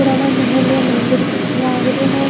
पुराना महल या मंदिर को सो लाग रियो है।